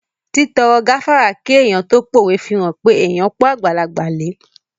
Títọrọ gáfárà kí èèyàn tó pówe fihàn pé èèyàn pọ́n àgbàlagbà lẹ